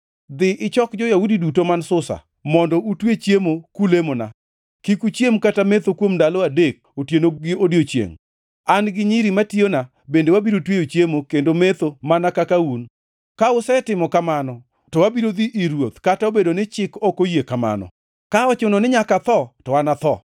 “Dhi ichok jo-Yahudi duto man Susa, mondo utwe chiemo kulemona. Kik uchiem kata metho kuom ndalo adek otieno gi odiechiengʼ. An gi nyiri matiyona bende wabiro tweyo chiemo kendo metho mana kaka un. Ka usetimo kamano, to abiro dhi ir ruoth, kata obedo ni chik ok oyie kamano. Ka ochuno ni nyaka atho, to anatho.”